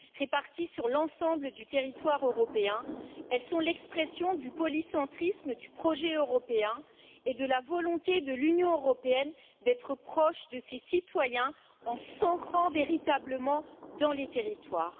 Réparties sur l'ensemble du territoire européen, elles sont l'expression du polycentrisme du projet européen et de la volonté de l'Union européenne d'être proche de ses citoyens en s'ancrant véritablement dans les territoires.